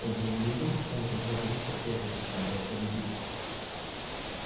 кто бы он ни был он опять вернулся и опять нападает на людей